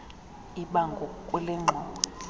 ibango kule ngxowa